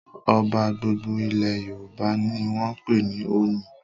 Ọba gbogbo ilẹ̀ Yorùbá ni wọ́n ń pè ní 'Ọọ̀ni'.